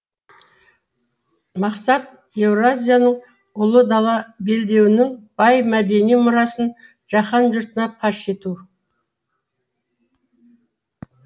мақсат еуразияның ұлы дала белдеуінің бай мәдени мұрасын жаһан жұртына паш ету